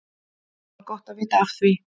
Það var gott að vita af því.